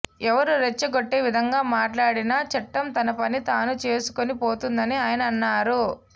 ఎవరు రెచ్చగొట్టే విధంగా మాట్లాడినా చట్టం తన పని తాను చేసుకుని పోతుందని ఆయన అన్నారు